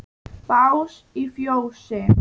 Bás í fjósi?